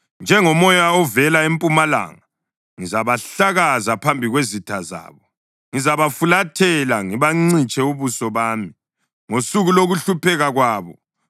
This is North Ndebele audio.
Njengomoya ovela empumalanga, ngizabahlakaza phambi kwezitha zabo; ngizabafulathela ngibancitshe ubuso bami ngosuku lokuhlupheka kwabo.”